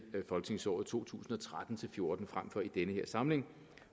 folketingsåret to tusind og tretten til fjorten frem for i den her samling